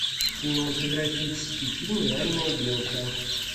кинематографический фильм реальная белка